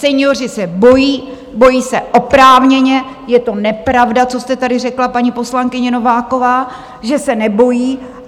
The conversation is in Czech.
Senioři se bojí, bojí se oprávněně, je to nepravda, co jste tady řekla, paní poslankyně Nováková, že se nebojí.